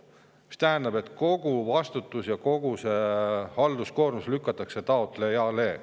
See tähendab, et kogu vastutus ja kogu halduskoormus lükatakse taotlejale.